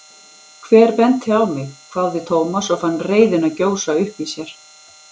Hver benti á mig? hváði Thomas og fann reiðina gjósa upp í sér.